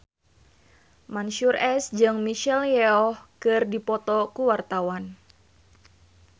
Mansyur S jeung Michelle Yeoh keur dipoto ku wartawan